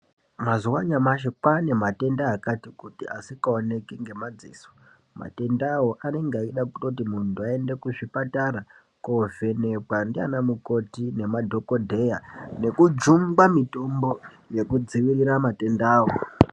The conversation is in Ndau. Mazuva anyamashi kwaanematenda akati kuti asikaoneki ngemadziso. Matendawo anenga eida kutoti muntu aende kuzvipatara koovhenekwa ndiana mukoti nemadhokodheya nekujungwa mitombo yekudzivirira matendawo.